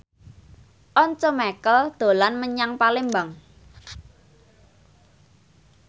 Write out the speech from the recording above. Once Mekel dolan menyang Palembang